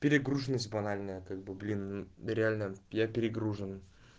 перегруженность банальная как бы блин мм реально я перегружен